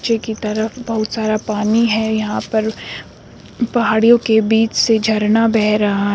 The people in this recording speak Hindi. नीचे की तरफ बहुत सारा पानी है यहां पर पहाड़ियो के बीच से झरना बह रहा--